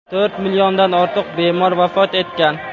to‘rt milliondan ortiq bemor vafot etgan.